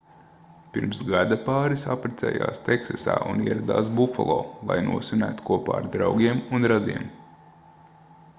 pirms gada pāris apprecējās teksasā un ieradās bufalo lai nosvinētu kopā ar draugiem un radiem